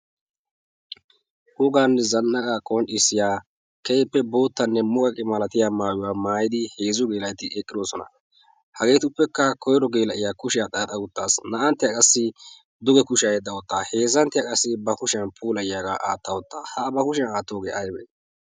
hugann zannada qonxdissiyaa keeppe boottanne muqaqi malatiya maayiwaa maayidi heezzu geela'oti eqqidoosona hageetuppekka koiro geela"iya kushiyaa xaaxa uttaassi na"anttiyaa qassi duge kushiya hedda ottaa heezzanttiyaa qassi ba kushiyan puulayyaagaa aatta ottaa ha ba kushiyan aattoogee aibee